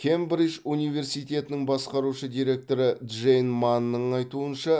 кембридж университетінің басқарушы директоры джейн манның айтуынша